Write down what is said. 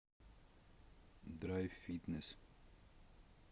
драйв фитнес